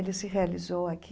Ele se realizou aqui.